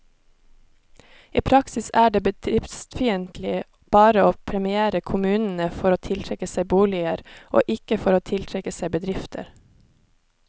I praksis er det bedriftsfiendtlig bare å premiere kommunene for å tiltrekke seg boliger, og ikke for å tiltrekke seg bedrifter.